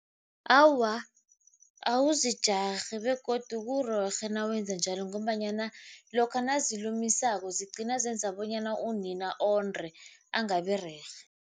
Awa, awuzijarhi begodu kurerhe nawenze njalo ngombanyana lokha nazilumisako zigcina zenza bonyana unina onde, angabirerhe.